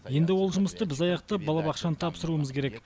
енді ол жұмысты біз аяқтап балабақшаны тапсыруымыз керек